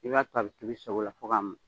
I b'a toyi, a bɛ tobi i sago la fo ka mɔn.